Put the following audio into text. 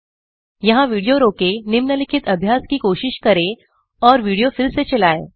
यहाँ विडियो रोकें निम्नलिखित अभ्यास की कोशिश करें और विडियो फिर से चलाएं